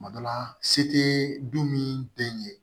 Kuma dɔ la se te du min den ye